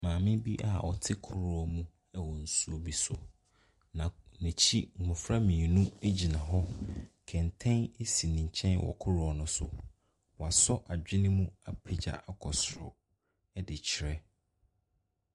Maame bi a ɔte kurɔw mu wɔ nsuo bi so. Na n'ekyir mmɔfra mmienu egyina hɔ. kɛntɛn si mkyɛn wɔ kurɔw ne so. Wa sɔ adwene mu apegya akɔ soro ɛdi kyerɛ.